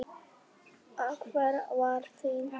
Hver var árangur þinn?